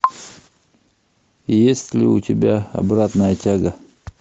есть ли у тебя обратная тяга